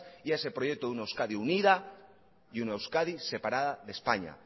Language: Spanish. y a ese proyecto de una euskadi unida y una euskadi separada de españa